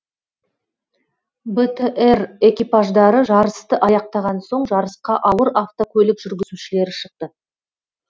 бтр экипаждары жарысты аяқтаған соң жарысқа ауыр автокөлік жүргізушілері шықты